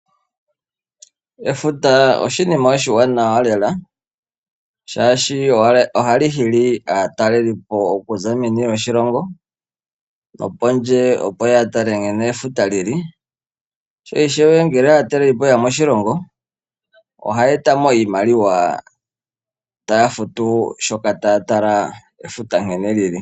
Efuta oshi nima oshiwanawa lela. Shashi ohali hili aatalelipo okuza meni lyoshilongo nopondje opo yatale nkene efuta lili. Sho ishewe ngele aatalelipo yeya moshilongo ohaya eta mo iimaliwa taya futu shoka taya tala efuta nkene lili.